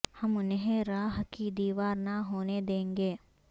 ہم انہیں را ہ کی دیوار نہ ہونے دیں گے